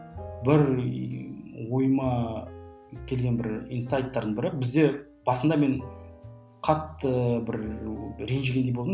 бір ойыма келген бір инсайттардың бірі бізде басында мен қатты бір ренжігендей болдым